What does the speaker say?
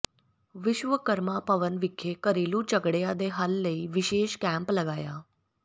ਵਿਸ਼ਵਕਰਮਾ ਭਵਨ ਵਿਖੇ ਘਰੇਲੂ ਝਗੜਿਆਂ ਦੇ ਹੱਲ ਲਈ ਵਿਸ਼ੇਸ਼ ਕੈਂਪ ਲਗਾਇਆ